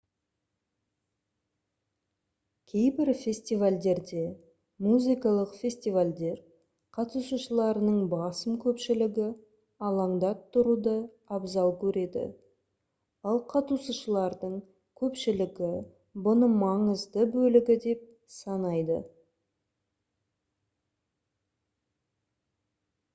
кейбір фестивальдерде музыкалық фестивальдер қатысушыларының басым көпшілігі алаңда тұруды абзал көреді ал қатысушылардың көпшілігі бұны маңызды бөлігі деп санайды